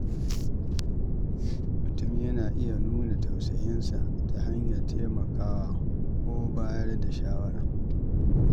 Mutum yana iya nuna tausayinsa ta hanyar taimakawa ko bayar da shawara.